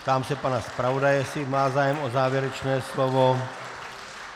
Ptám se pana zpravodaje, zdali má zájem o závěrečné slovo.